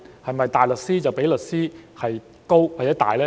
是否大律師較律師高或大呢？